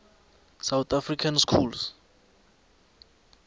south african schools